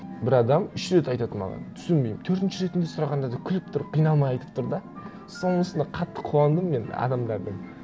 бір адам үш рет айтады маған түсінбеймін төртінші ретінде сұрағанда да күліп тұрып қиналмай айтып тұр да сонысына қатты қуандым мен адамдардың